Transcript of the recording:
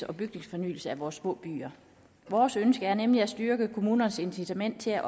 og bygningsfornyelse i vores små byer vores ønske er nemlig at styrke kommunernes incitament til at